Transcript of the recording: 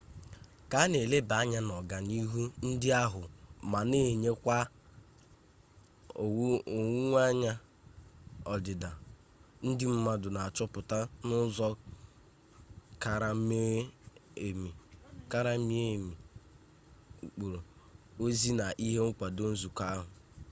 ka a na eleba anya n'ọganihu ndị ahụ ma na-enwekwa owuweanya ọdịda ndị mmadụ na achọpụta n'ụzọ kara mie emi ụkpụrụ ozi na ihe nkwado nzukọ ahụ